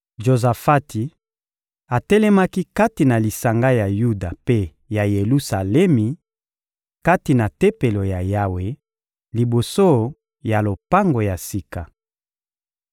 Jozafati atelemaki kati na lisanga ya Yuda mpe ya Yelusalemi, kati na Tempelo ya Yawe, liboso ya lopango ya sika.